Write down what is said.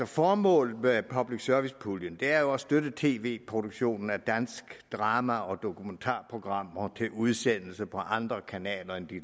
formålet med public service puljen er at støtte tv produktionen af dansk drama og dokumentarprogrammer til udsendelse på andre kanaler end de